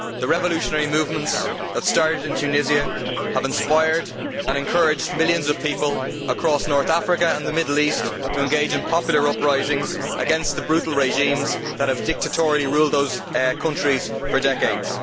The revolutionary movements that started in Tunisia have inspired and encouraged millions of people across North Africa and the Middle East to engage in popular uprisings against the brutal regimes that have dictatorially ruled those countries for decades.